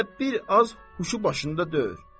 Belə bir az huşu başında deyil.